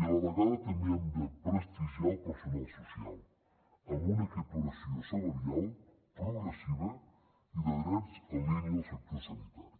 i a la vegada també hem de prestigiar el personal social amb una equiparació salarial progressiva i de drets en línia al sector sanitari